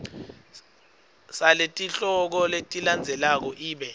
saletihloko letilandzelako ibe